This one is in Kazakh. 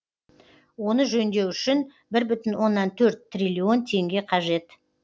оны жөндеу үшін бір бүтін оннан төрт триллион теңге қажет